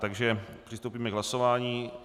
Takže přistoupíme k hlasování.